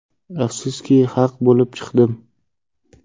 Afsuski, haq bo‘lib chiqdim.